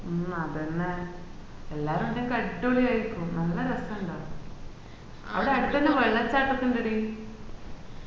മ്മ് അതെന്നെ ഏല്ലാരും ഉണ്ടെങ്കില് അഡ്വളി ആയ്‌രിക്കും നല്ല രസണ്ടാവും അവിടെ അടിത്തന്നെ വെള്ളച്ചാട്ടം ഒക്കെ ഇന്ഡെടി